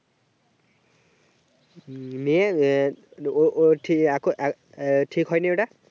উম নিয়ে ও ওর এখনও ঠিক হয়নি ওটা